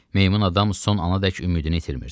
Meymun adam son anadək ümidini itirmirdi.